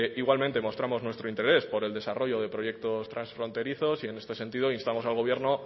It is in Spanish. igualmente mostramos nuestro interés por el desarrollo de proyectos transfronterizos y en este sentido instamos al gobierno